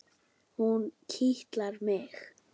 Hún kitlar mig!